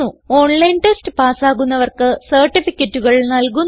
online test പാസ്സാകുന്നവർക്ക് സർട്ടിഫികറ്റുകൾ നല്കുന്നു